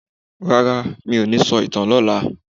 Rara, mí ò ní sọ ìtàn lọla.